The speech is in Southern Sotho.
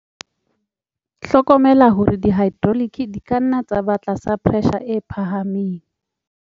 Hlokomela hore di-hydraulike di ka nna tsa ba tlasa pressure e phahameng.